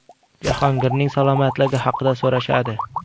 Jahongirning salomatligi haqda so‘rashadi.